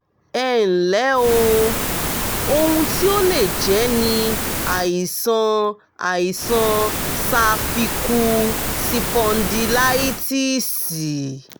ẹ ǹlẹ́ o! ohun tí ó lè jẹ́ ni àìsàn àìsàn sáfíkú sipọndílitíìsì